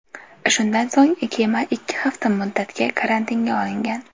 Shundan so‘ng kema ikki hafta muddatga karantinga olingan .